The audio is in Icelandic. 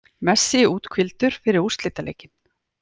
Messi úthvíldur fyrir úrslitaleikinn